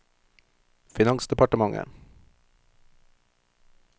finansdepartementet